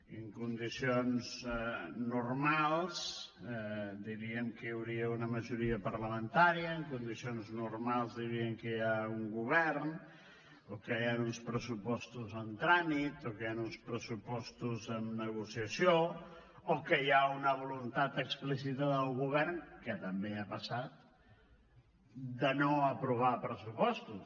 i en condicions normals diríem que hi hauria una majoria parlamentària en condicions normals diríem que hi ha un govern o que hi han uns pressupostos en tràmit o que hi han uns pressupostos en negociació o que hi ha una voluntat explícita del govern que també ha passat de no aprovar pressupostos